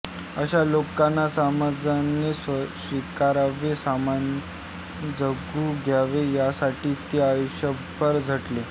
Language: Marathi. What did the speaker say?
अशा लोकांना समाजाने स्वीकारावे सन्मानाने जगू द्यावे यांसाठी ते आयुष्यभर झटले